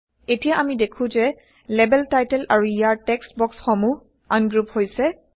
এতিয়া আমি দেখো160যে লেবেল টাইটল আৰু ইয়াৰ টেক্সট বক্সসমূহ আনগ্ৰুপ হৈছে